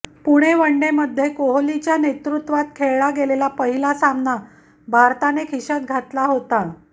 पुणे वनडेमध्ये कोहलीच्या नेतृत्वात खेळला गेलेला पहिला सामना भारताने खिशात घातला होता